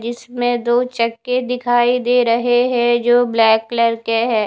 जिसमें दो चक्के दिखाई दे रहे है जो ब्लैक कलर के है।